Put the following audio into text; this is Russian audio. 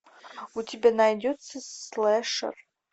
у тебя найдется слэшер